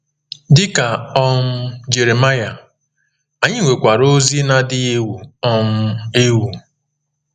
Dị ka um Jeremaịa, anyị nwekwara ozi na-adịghị ewu um ewu.